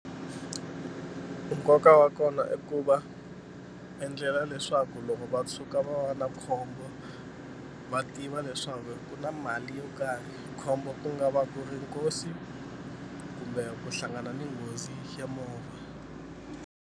Nkoka wa kona i ku va endlela leswaku loko va tshuka va va na khombo va tiva leswaku ku na mali yo karhi khombo ku nga va ku ri nkosi kumbe ku hlangana ni nghozi ya movha.